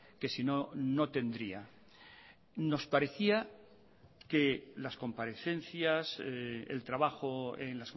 que sino no tendría nos parecía que las comparecencias el trabajo en